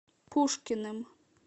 пушкиным